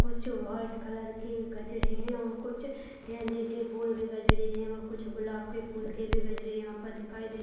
कुछ white colour के गजरे हैं और कुछ गेंदे के फूल के गजरे हैं और कुछ गुलाब के फूल के भी गजरे यहाँ पर दिखाई दे --